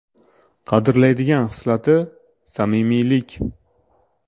Qadrlaydigan xislati : samimiylik.